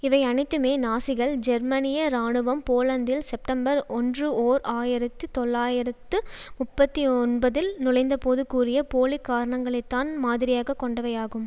இவை அனைத்துமே நாசிகள் ஜெர்மனிய இராணுவம் போலந்தில் செப்டம்பர் ஒன்று ஓர் ஆயிரத்து தொள்ளாயிரத்து முப்பத்தி ஒன்பதில் நுழைந்தபோது கூறிய போலிக்காரணங்களைத்தான் மாதிரியாக கொண்டவை ஆகும்